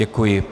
Děkuji.